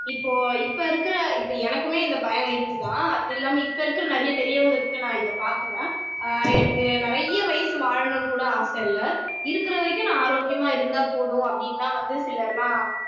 இப்போ இப்போ இருக்கிற இப்போ எனக்குமே இந்த பயம் இருக்குதான் அது இல்லாம இருக்கிற நிறைய பெரியவங்ககிட்ட நான் இதை பார்க்கிறேன் ஆஹ் எனக்கு நிறைய வயசு வாழணும்ன்னு கூட ஆசை இல்லை இருக்கிற வரைக்கும் நான் ஆரோக்கியமா இருந்தா போதும் அப்படின்னுதான் வந்து சிலர்லாம்